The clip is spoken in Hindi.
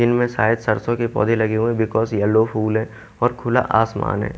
इनमें शायद सरसों के पौधे लगे हुए हैं बिकॉज येलो फूल है और खुला आसमान है।